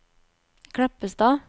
Kleppstad